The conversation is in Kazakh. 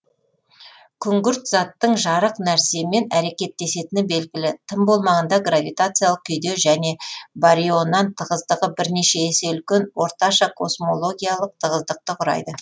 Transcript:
күңгірт заттың жарық нәрсемен әрекеттесетіні белгілі тым болмағанда гравитациялық күйде және барионнан тығыздығы бірнеше есе үлкен орташа космологиялық тығыздықты құрайды